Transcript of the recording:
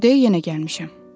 Bu dəfə yenə gəlmişəm.